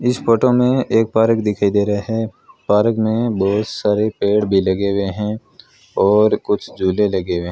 इस फोटो में एक पारक दिखाई दे रहे हैं पारक में बहुत सारे पेड़ भी लगे हुए हैं और कुछ झूले लगे हुएं --